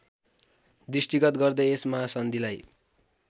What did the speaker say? दृष्टिगत गर्दै यस महासन्धिलाई